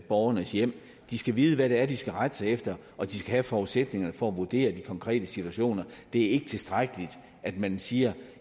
borgernes hjem de skal vide hvad det er de skal rette sig efter og de skal have forudsætningerne for at vurdere de konkrete situationer det er ikke tilstrækkeligt at man siger